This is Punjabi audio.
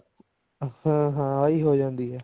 ਹਾਂ ਹਾਂ ਬਾਈ ਹੋ ਜਾਂਦੀ ਹੈ